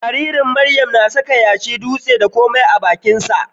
Jaririn Miriam na saka yashi, dutse, da komai a bakinsa.